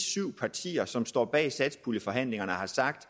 syv partier som står bag satspuljeforhandlingerne har sagt